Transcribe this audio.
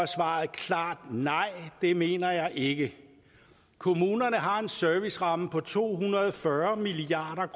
svaret klart nej det mener jeg ikke kommunerne har en serviceramme på to hundrede og fyrre milliard